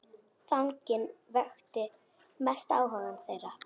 Fanginn vakti mestan áhuga þeirra.